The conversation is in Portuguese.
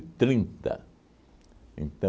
trinta. Então